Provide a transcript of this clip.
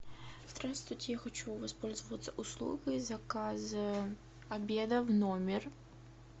здравствуйте я хочу воспользоваться услугой заказа обеда в номер